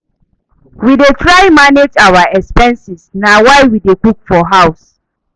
We dey try manage our expenses na why we dey cook for house.